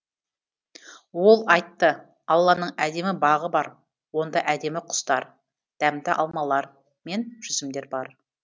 ол айтты алланың әдемі бағы бар онда әдемі құстар дәмді алмалар мен жүзімдер бар